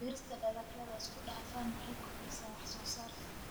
Beerista dalagyada isku dhafan waxay kordhisaa wax-soo-saarka.